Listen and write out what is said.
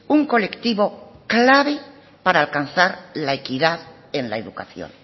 un colectivo clave para alcanzar la equidad en la educación